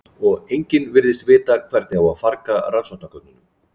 og enginn virðist vita hvernig á að farga rannsóknargögnunum